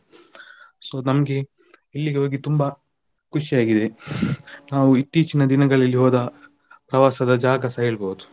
So ನಮ್ಗೆ ಇಲ್ಲಿಗೆ ಹೋಗಿ ತುಂಬ ಖುಷಿ ಆಗಿದೆ ನಾವು ಇತ್ತೀಚಿನ ದಿನಗಳಲ್ಲಿ ಹೋದ ಪ್ರವಾಸದ ಜಾಗಸ ಹೇಳ್ಬೋದು.